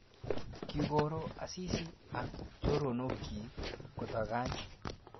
Kingoro Asisi ak choronokchi kotangany